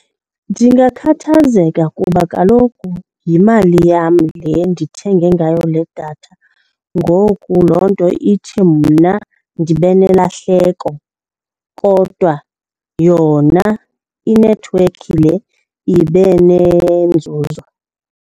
Ndingakhathazeka kuba kaloku yimali yam le ndithenge ngayo le datha. Ngoku loo nto ithi mna ndibe nelahleko kodwa yona inethiwekhi le ibe nenzuzo.